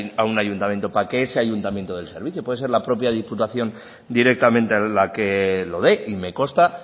a un ayuntamiento para que ese ayuntamiento dé el servicio puede ser la propia diputación directamente la que lo dé y me consta